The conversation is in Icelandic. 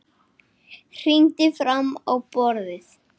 Hrindir fram á borðið.